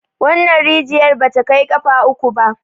wannan rijiyar ba ta Kai kafa uku ba